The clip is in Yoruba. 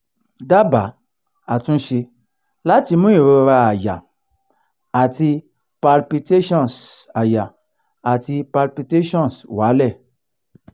daba atunse lati mu irora aya ati palpitations aya ati palpitations wa le